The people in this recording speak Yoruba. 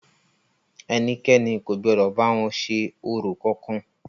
Ẹnikẹ́ni kò gbọdọ̀ bá wọn ṣe orò kankan!